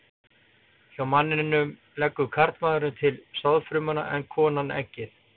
Hjá manninum leggur karlmaðurinn til sáðfrumuna en konan eggið.